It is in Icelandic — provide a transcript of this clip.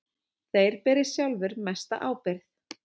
Þeir beri sjálfir mesta ábyrgð.